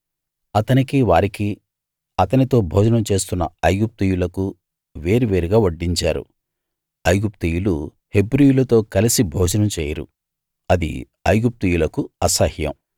అతనికీ వారికీ అతనితో భోజనం చేస్తున్న ఐగుప్తీయులకు వేర్వేరుగా వడ్డించారు ఐగుప్తీయులు హెబ్రీయులతో కలిసి భోజనం చేయరు అది ఐగుప్తీయులకు అసహ్యం